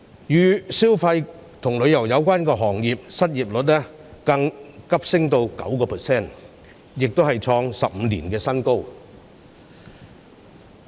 與消費及旅遊有關的行業，失業率更急升至 9%， 創15年新高。